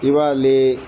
I b'ale